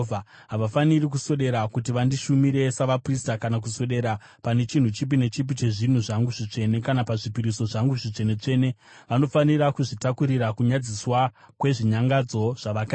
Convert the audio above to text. Havafaniri kuswedera kuti vandishumire savaprista kana kuswedera pane chinhu chipi nechipi chezvinhu zvangu zvitsvene kana pazvipiriso zvangu zvitsvene-tsvene; vanofanira kuzvitakurira kunyadziswa kwezvinyangadzo zvavakaita.